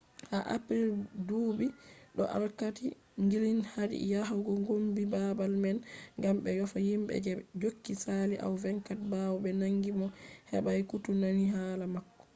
ha april buubi do alkali glynn hadi yahugo kombi babal man gam be yofa himbe je be jogi sali awa 24 bawo be nangi mo hebai koutu nani hala mako